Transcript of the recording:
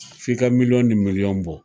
F'i ka miliyɔn ni miliyɔn bɔ